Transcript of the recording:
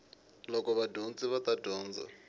loko vadyondzi va ta dyondza